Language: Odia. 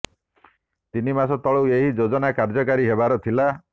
ତିନି ମାସ ତଳୁ ଏହି ଯୋଜନା କାର୍ଯ୍ୟକାରୀ ହେବାର ଥିଲା